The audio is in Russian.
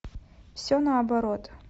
все наоборот